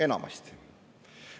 Enamasti.